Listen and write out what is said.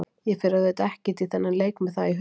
Ég fer auðvitað ekkert í þennan leik með það í huga.